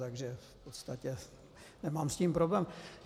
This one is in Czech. Takže v podstatě nemám s tím problém.